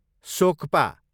सोक्पा